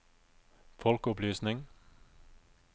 folkeopplysning